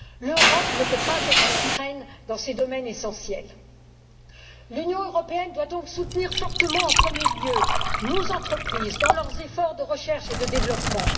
L'Europe ne peut pas être à la traîne dans ces domaines essentiels. L'Union européenne doit donc soutenir, fortement et en premier lieu, nos entreprises dans leurs efforts de recherche et de développement.